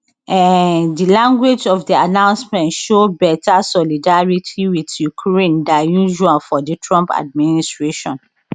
um di language of di announcement show beta solidarity with ukraine dan usual for di trump administration